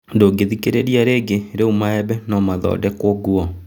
Ndũngĩthikĩrĩria rĩngĩ Rĩu maembe nomathondekwo nguo?